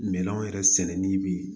Minɛnw yɛrɛ sɛnɛnen bi